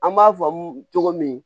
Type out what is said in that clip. An b'a faamu cogo min